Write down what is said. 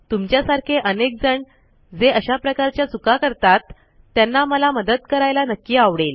तुमच्यासारखे अनेक जण जे अशा प्रकारच्या चुका करतात त्यांना मला मदत करायला नक्की आवडेल